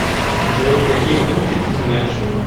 джой какие гурки ты знаешь